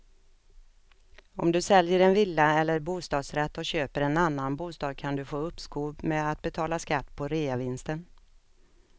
Om du säljer en villa eller bostadsrätt och köper en annan bostad kan du få uppskov med att betala skatt på reavinsten.